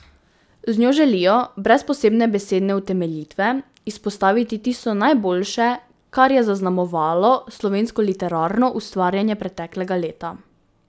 Z njo želijo, brez posebne besedne utemeljitve, izpostaviti tisto najboljše, kar je zaznamovalo slovensko literarno ustvarjanje preteklega leta.